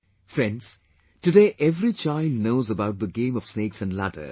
Friends, today every child knows about the game of snakes and ladders